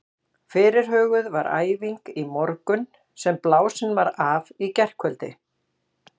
Fyrirhuguð var æfing í morgun sem blásin var af í gærkvöldi.